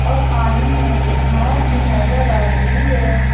और पानी में एक नाव भी नजर आ रही है।